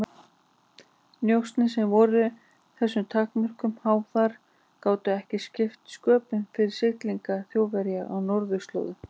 Njósnir, sem voru þessum takmörkunum háðar, gátu ekki skipt sköpum fyrir siglingar Þjóðverja á norðurslóðum.